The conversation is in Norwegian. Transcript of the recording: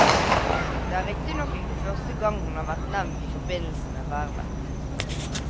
Det er riktignok ikke første gang hun har vært nevnt i forbindelse med vervet.